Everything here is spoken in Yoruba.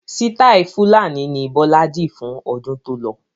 Sitai fulani ni Bọlá di fún ọdún tó lọ.